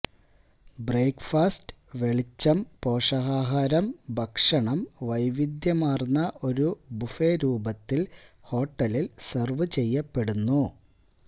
breakfast വെളിച്ചം പോഷകാഹാരം ഭക്ഷണം വൈവിധ്യമാർന്ന ഒരു ബുഫേ രൂപത്തിൽ ഹോട്ടലിൽ സെർവുചെയ്യപ്പെടുന്നു